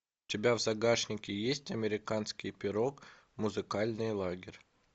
у тебя в загашнике есть американский пирог музыкальный лагерь